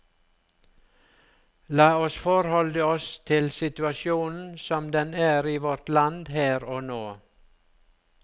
La oss forholde oss til situasjonen som den er i vårt land her og nå.